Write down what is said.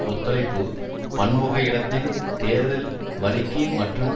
ஒத்துழைப்பு பன்முக இடதின் தேர்தல் வழிக்கு மற்றும்